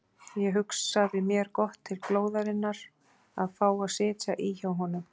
Ég hugsaði mér gott til glóðarinnar að fá að sitja í hjá honum.